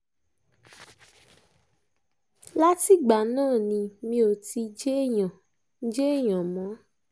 látìgbà náà ni mi ò ti jéèyàn jéèyàn mọ́